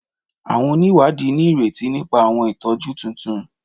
Awọn oniwadi ni ireti nipa awọn itọju tuntun